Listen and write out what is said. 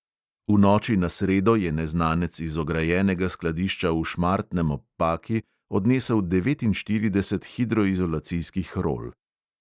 V noči na sredo je neznanec iz ograjenega skladišča v šmartnem ob paki odnesel devetinštirideset hidroizolacijskih rol.